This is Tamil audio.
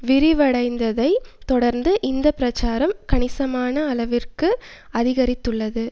விரிவடைந்ததை தொடர்ந்து இந்த பிரசாரம் கணிசமான அளவிற்கு அதிகரித்துள்ளது